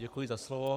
Děkuji za slovo.